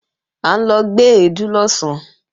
À ń lọ gbé èédú lọ̀sán